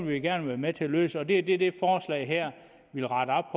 vi gerne være med til at løse det og det er det det forslag her vil rette op